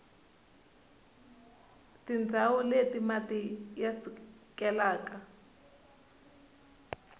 tindzawu leti mati ya sukelaka